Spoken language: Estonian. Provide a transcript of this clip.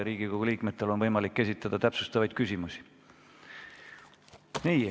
Riigikogu liikmetel on võimalik esitada täpsustavaid küsimusi.